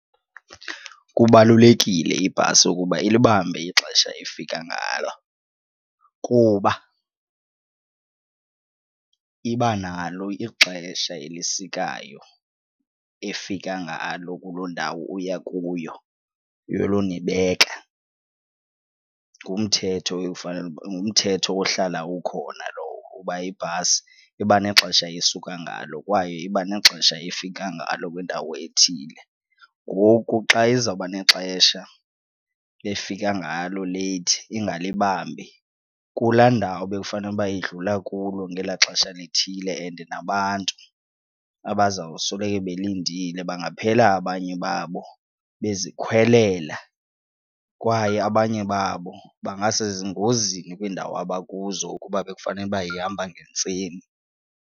Kubalulekile ibhasi ukuba ilibambe ixesha efika ngalo kuba iba nalo ixesha elisikayo efika ngalo kuloo ndawo uya kuyo yolonibeka ngumthetho ngumthetho ohlala ukhona lowo uba ibhasi iba nexesha esuka ngalo kwaye iba nexesha efika ngalo kwindawo ethile. Ngoku xa izawuba nexesha efika ngalo leyithi ingalibambi kulaa ndawo bekufanele uba idlula kulo ngelaa xesha lithile and nabantu abazawusoloko belindile bangaphela abanye babo bezikhwelela kwaye abanye babo bangasengozini kwiindawo abakuzo ukuba bekufanele uba ihamba ngentseni.